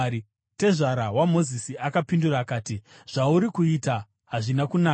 Tezvara waMozisi akapindura akati, “Zvauri kuita hazvina kunaka.